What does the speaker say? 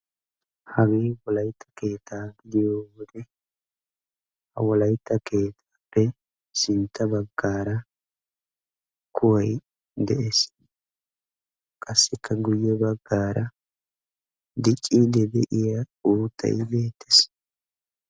Hagee wolaytta keetta gidiyo wode ha wolaytta keettaappe sintta baggaara kuway de"es. Qassikka guyye baggaara dicciiddi de"iya uuttay beettes.